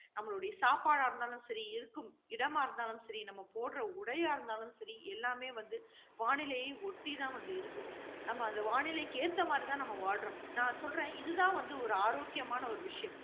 நம்மளுடைய சாப்பாடா இருந்தாலும் சரி, இருக்கும் இடமாக இருந்தாலும் சரி, நம்ம போடுற உடையா இருந்தாலும் சரி, எல்லாமே வந்து வானிலையை ஒட்டி தான் வந்து இருக்குது. நம்ம அந்த வானிலைக்கு ஏற்ற மாதிரி தான் நம்ம வாழறோம். நான் சொல்றேன் இதுதான் வந்து ஒரு ஆரோக்கியமான ஒரு விஷயம்